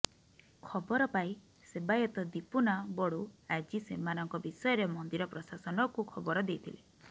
ଖବର ପାଇ ସେବାୟତ ଦୀପୁନା ବଡ଼ୁ ଆଜି ସେମାନଙ୍କ ବିଷୟରେ ମନ୍ଦିର ପ୍ରଶାସନକୁ ଖବର ଦେଇଥିଲେ